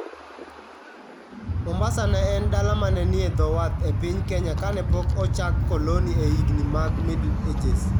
Mombasa ne en dala ma ne nie dho wath e piny Kenya kane pok ochak koloni e higini mag Middle Ages.